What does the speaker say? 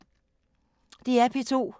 DR P2